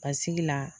Basigi la